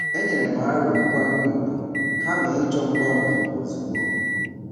E nyerem aro nkwanye ùgwù kama ịchọ mgbanwe ozugbo.